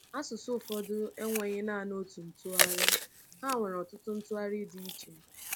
Asụsụ ụfọdụ enweghi naanị otu ntụgharị; ha nwere ọtụtụ ntụgharị dị iche.